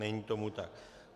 Není tomu tak.